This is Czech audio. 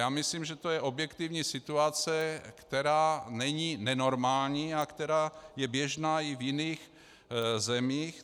Já myslím, že to je objektivní situace, která není nenormální a která je běžná i v jiných zemích.